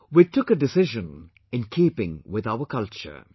We took a decision in keeping with our culture